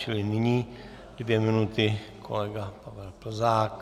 Čili nyní dvě minuty kolega Pavel Plzák.